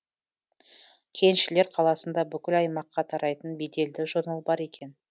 кеншілер қаласында бүкіл аймаққа тарайтын беделді журнал бар екен